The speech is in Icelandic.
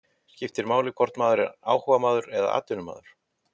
Skiptir máli hvort maður sé áhugamaður eða atvinnumaður?